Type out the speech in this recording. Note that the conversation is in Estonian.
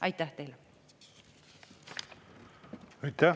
Aitäh teile!